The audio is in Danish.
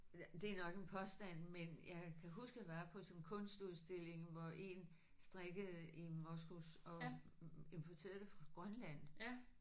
Ja det er nok en påstand men jeg kan huske jeg var på sådan en kunstudstilling hvor én strikkede i moskus og importerede det fra Grønland